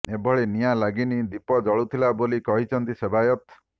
ଏଭଳି ନିଆଁ ଲାଗିନି ଦୀପ ଜଳୁଥିଲା ବୋଲି କହିଛନ୍ତି ସେବାୟତ